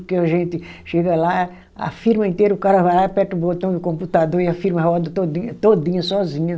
Porque a gente chega lá, a firma inteira, o cara vai lá, aperta o botão do computador e a firma roda todinha, todinha, sozinha.